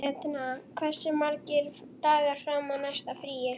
Etna, hversu margir dagar fram að næsta fríi?